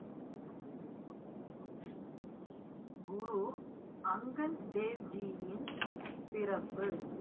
குரு அங்கத் தேவ்ஜியின் பிறப்பு